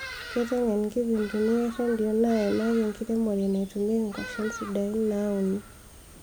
Keiteng'en nkipindini e rendenio naimaki enkiremore enetetumieki nkwashen sidai naauni